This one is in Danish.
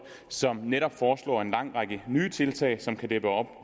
som netop foreslår en lang række nye tiltag som kan